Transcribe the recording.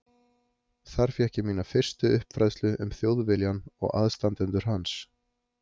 Þar fékk ég mína fyrstu uppfræðslu um Þjóðviljann og aðstandendur hans.